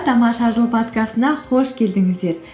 тамаша жыл подкастына қош келдіңіздер